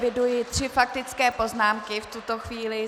Eviduji tři faktické poznámky v tuto chvíli.